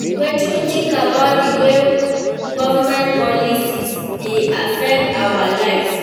Wetin you think about di way government policies dey affect our lives?